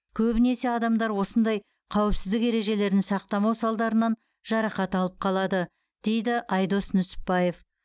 көбінесе адамдар осындай қауіпсіздік ережелерін сақтамау салдарынан жарақат алып қалады деді айдос нүсіпбаев